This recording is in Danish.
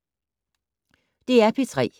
DR P3